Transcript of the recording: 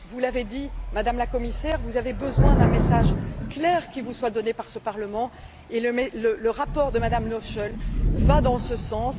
Vous l'avez dit, Madame la Commissaire, vous avez besoin d'un message clair qui vous soit donné par ce Parlement et le rapport de Mme Noichl va dans ce sens.